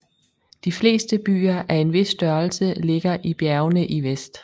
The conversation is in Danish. De fleste byer af en vis størrelse ligger i bjergene i vest